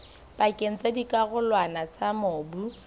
pakeng tsa dikarolwana tsa mobu